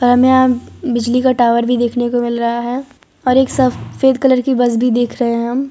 हमें यहां बिजली का टावर भी देखने को मिल रहा है और एक सफेद कलर की बस भी देख रहे हैं हम।